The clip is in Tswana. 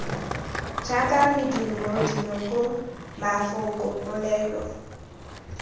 jaaka medumo dinoko mafoko polelo